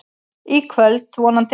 Í kvöld, vonandi.